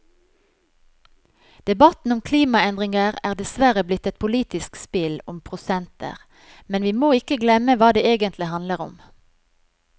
Debatten om klimaendringer er dessverre blitt et politisk spill om prosenter, men vi må ikke glemme hva det egentlig handler om.